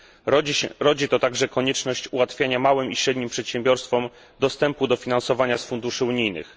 Rodzi to także konieczność ułatwiania małym i średnim przedsiębiorstwom dostępu do finansowania z funduszy unijnych.